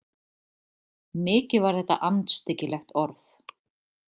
Mikið var þetta andstyggilegt orð.